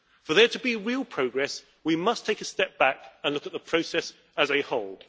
For there to be real progress, we must take a step back and look at the process as a whole.